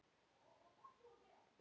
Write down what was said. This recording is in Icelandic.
Varstu aldrei hrædd?